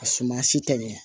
A suma si tɛ ɲɛ